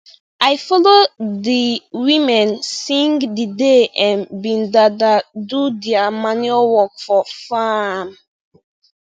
i follow de women sing d day em been da da do dia manure work for faarm